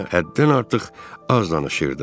Həm də həddən artıq az danışırdı.